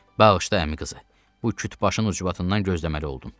Bağışla əmi qızı, bu kütbaşın ucbatından gözləməli oldum.